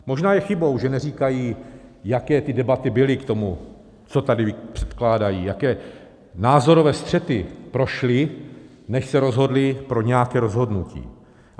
Možná je chybou, že neříkají, jaké ty debaty byly k tomu, co tady předkládají, jaké názorové střety prošly, než se rozhodli pro nějaké rozhodnutí.